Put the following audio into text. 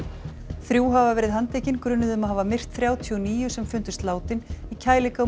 þrjú hafa verið handtekin grunuð um að hafa myrt þrjátíu og níu sem fundust látin í